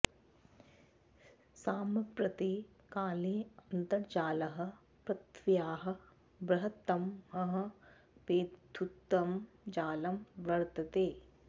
साम्प्रते काले अन्तर्जालः पृथ्व्याः बृहत्तमः वैद्युतं जालं वर्तते